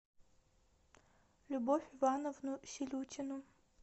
любовь ивановну селютину